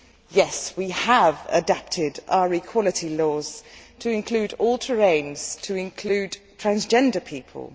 Yes, we have adapted our equality laws to include all terrains, to include transgender people.